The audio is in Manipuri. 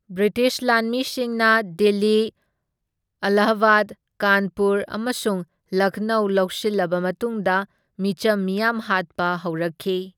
ꯕ꯭ꯔꯤꯇꯤꯁ ꯂꯥꯟꯃꯤꯁꯤꯡꯅ ꯗꯤꯜꯂꯤ, ꯑꯦꯂꯥꯍꯥꯕꯥꯗ, ꯀꯥꯟꯄꯨꯔ ꯑꯃꯁꯨꯡ ꯂꯈꯅꯧ ꯂꯧꯁꯤꯜꯂꯕ ꯃꯇꯨꯡꯗ ꯃꯤꯆꯝ ꯃꯤꯌꯥꯝ ꯍꯥꯠꯄ ꯍꯧꯔꯛꯈꯤ꯫